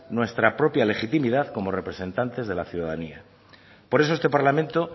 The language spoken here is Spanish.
nuestra propia legitimidad como representantes de la ciudadanía por eso este parlamento